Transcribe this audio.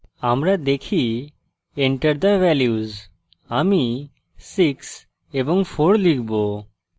আমরা দেখি enter the values আমি 6 এবং 4 লিখব